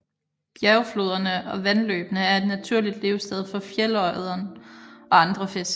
Bjergfloderne og vandløbene er et naturligt levested for fjeldørreden og andre fisk